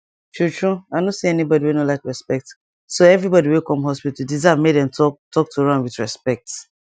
true true i no see anybody wey no like respect so every body way come hospital deserve make dem talk talk to am with respect